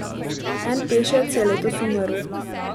En pešec je letos umrl.